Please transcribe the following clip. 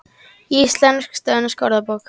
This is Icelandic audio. Íslensk-dönsk orðabók.